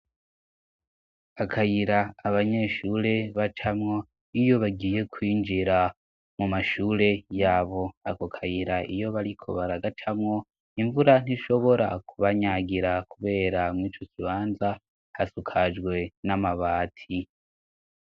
Akayira abanyeshure bacamwo iyo bagiye kwinjira mu mashure yabo ako akayira iyo bariko bariagacamwo imvura ntishobora kubanyagira, kubera mwo icukibanza hasukajwe n'amabati.